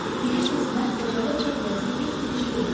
Bilirsiniz, mən xəcalət çəkiləsi heç bir iş görməmişəm.